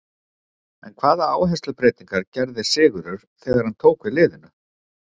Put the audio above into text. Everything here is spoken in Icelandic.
En hvaða áherslubreytingar gerði Sigurður þegar hann tók við liðinu?